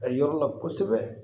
A yɔrɔ la kosɛbɛ